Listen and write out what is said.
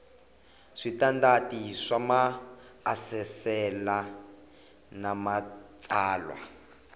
switandati swa maasesele na matsalwa